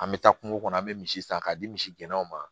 An bɛ taa kungo kɔnɔ an bɛ misi san k'a di misi gɛnnaw ma